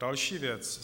Další věc.